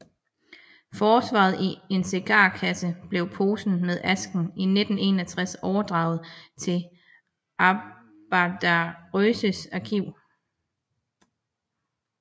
Forvaret i en cigarkasse bliver posen med asken i 1961 overdraget til Arbetarrörelsens Arkiv